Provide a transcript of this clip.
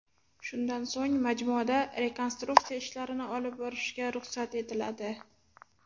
Shundan so‘ng majmuada rekonstruktsiya ishlarini olib borishga ruxsat etiladi.